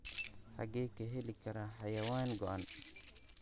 xagee ka heli karaa xayawaan go'an